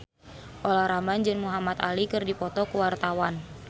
Olla Ramlan jeung Muhamad Ali keur dipoto ku wartawan